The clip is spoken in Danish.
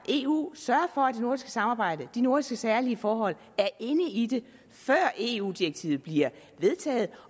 i eu sørge for at det nordiske samarbejde de nordiske særlige forhold er inde i det før eu direktivet bliver vedtaget